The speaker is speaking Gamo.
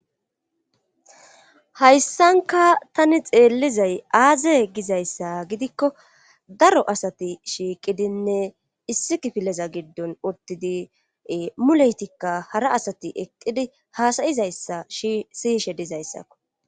hayssanka tani xeellizay aaze gizayssa gidikko ee daro asati shiiqidinne issi kifileza giddon utidi muleytikka hara asati eqqidi haasayizayssa shiyishe dizayssakko